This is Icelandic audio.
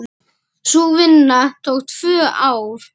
Sú vinna tók tvö ár.